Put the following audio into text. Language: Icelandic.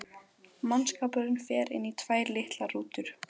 Mannskapurinn fer inn í tvær litlar rútur.